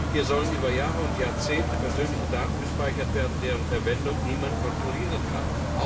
Hier sollen über Jahre und Jahrzehnte persönliche Daten gespeichert werden, deren Verwendung niemand kontrollieren kann.